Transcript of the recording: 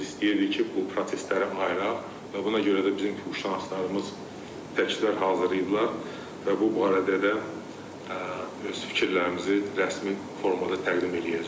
Biz istəyirdik ki, bu prosesləri ayıraq və buna görə də bizim quşnaslarımız təkliflər hazırlayıblar və bu barədə də öz fikirlərimizi rəsmi formada təqdim eləyəcəyik.